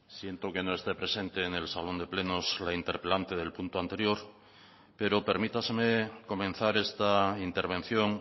siento que no esté presente en el salón de plenos la interpelante del punto anterior pero permítaseme comenzar esta intervención